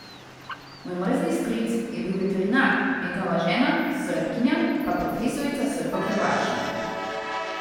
Moj mrzli stric je bil veterinar, njegova žena, Srbkinja, pa profesorica srbohrvaščine.